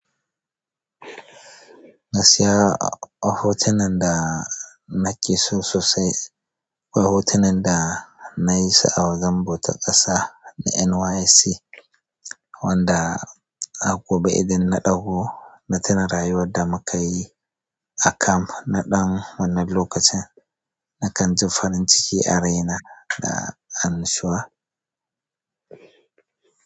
Gaskiya a hotunan da nake so sosai, akwai hotunan da nayi su a wajen bautar ƙasa na NYSC wanda a gobe idan na ɗauko na tona rayuwar da muka yi a kamf na ɗan wannan lokacin na kan ji farin ciki a raina da annashuwa.